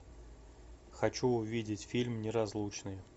хочу увидеть фильм неразлучные